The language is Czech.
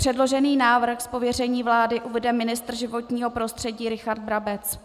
Předložený návrh z pověření vlády uvede ministr životního prostředí Richard Brabec.